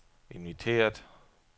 inviteret